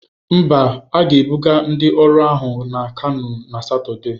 Mba, a ga-ebuga ndị ọrụ ahụ na Kanu na Satọde.